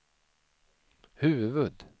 huvud